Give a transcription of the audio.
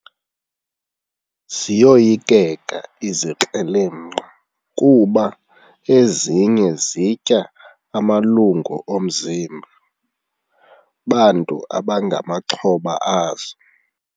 Ziyoyikeka izikrelemnqa kuba ezinye zitya amalungu omzimba bantu abangamaxhoba azo.